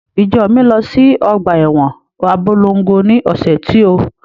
Ìjọ mi lọ sí ọgbà ẹwọn Abólongo ni ọ̀sẹ̀ tí ó.